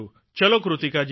ચાલો કૃતિકાજી